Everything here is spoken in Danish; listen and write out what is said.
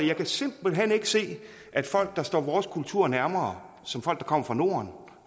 jeg kan simpelt hen ikke se at folk der står vores kultur nærmere som folk der kommer fra norden